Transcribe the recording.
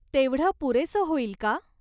तेवढं पुरेसं होईल का?